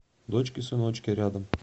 дочки сыночки рядом